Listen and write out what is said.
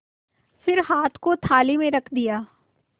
फिर हाथ को थाली में रख दिया